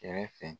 Kɛrɛfɛ